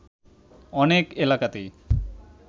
অনেক এলাকাতেই